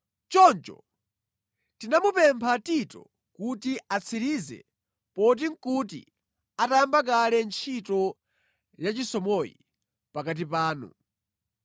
Choncho tinamupempha Tito kuti atsirize poti nʼkuti atayamba kale ntchito yachisomoyi pakati panu.